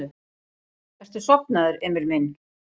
Ertu sofnaður, Emil minn?